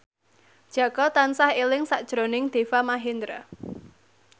Jaka tansah eling sakjroning Deva Mahendra